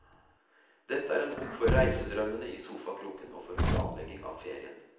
Dette er en bok for reisedrømmene i sofakroken og for planlegging av ferien.